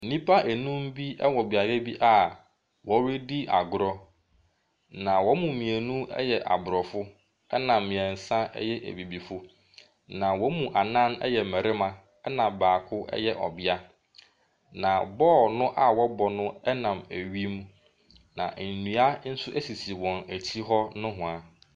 Nnipa nnum bi ɛwɔ beaeɛ bi a wɔredi agorɔ. Na wɔn mu mmienu ɛyɛ abrɔfo ɛna mmiɛnsa ɛyɛ abibifo. Na wɔn mu nnan yɛ mmarima ɛna baako yɛ ɔbea. Na bɔɔl no a ɔrebɔ no ɛnam awim. Nnua nso esisi wɔn akyi hɔ nohwaa.